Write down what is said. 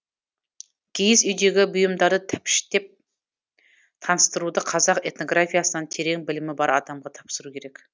киіз үйдегі бұйымдары тәпіштеп таныстыруды қазақ этнографиясынан терең білімі бар адамға тапсыру керек